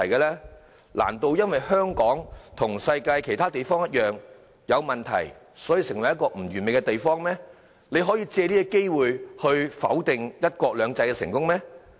難道因為香港和世界其他地方一樣，存在不完美的地方，便可以否定"一國兩制"的成功嗎？